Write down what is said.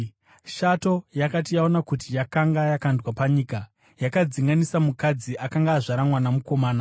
Shato yakati yaona kuti yakanga yakandwa panyika, yakadzinganisa mukadzi akanga azvara mwana mukomana.